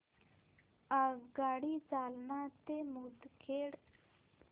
आगगाडी जालना ते मुदखेड